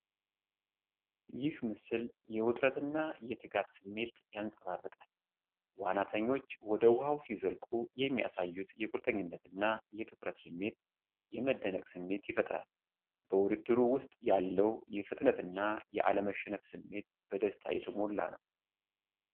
ይህ ምስል የውጥረት እና የትጋት ስሜት ያንጸባርቃል። ዋናተኞች ወደ ውሃው ሲዘልቁ የሚያሳዩት የቁርጠኝነት እና የትኩረት ስሜት፣ የመደነቅ ስሜት ይፈጥራል። በውድድሩ ውስጥ ያለው የፍጥነትና የአለመሸነፍ ስሜት በደስታ የተሞላ ነው።